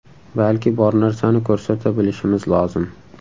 Balki bor narsani ko‘rsata bilishimiz lozim.